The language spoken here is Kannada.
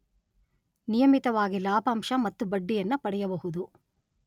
ನಿಯಮಿತವಾಗಿ ಲಾಭಾಂಶ ಮತ್ತು ಬಡ್ಡಿಯನ್ನ ಪಡೆಯಬಹುದು.